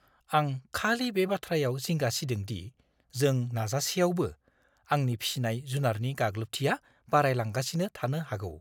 आं खालि बे बाथ्रायाव जिंगा सिदों दि जों नाजासेआवबो, आंनि फिसिनाय जुनारनि गाग्लोबथिया बारायलांगासिनो थानो हागौ।